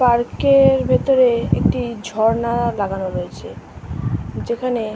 Park - এর ভিতরে একটি ঝর্ণা আ লাগানো রয়েছে যেখানে ।